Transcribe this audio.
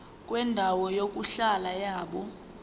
kwendawo yokuhlala yabantu